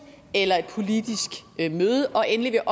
eller et politisk møde og endelig er